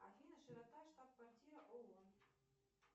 афина широта штаб квартира оон